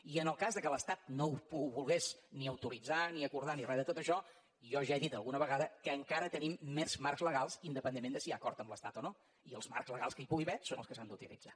i en el cas que l’estat no ho volgués ni autoritzar ni acordar ni re de tot això jo ja he dit alguna vegada que encara tenim més marcs legals independentment de si hi ha acord amb l’estat o no i els marcs legals que hi pugui haver són els que s’han d’utilitzar